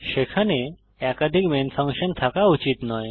সেখানে একাধিক main function থাকা উচিত নয়